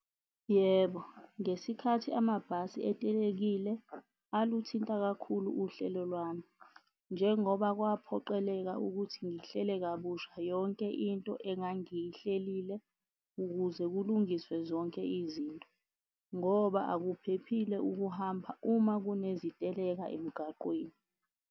Yebo, ngesikhathi amabhasi etelekile aluthinta kakhulu uhlelo lwami. Njengoba kwaphoqeleka ukuthi ngihlele kabusha yonke into engangiyihlelile ukuze kulungiswe zonke izinto ngoba akuphephile ukuhamba uma kuneziteleka emgaqweni.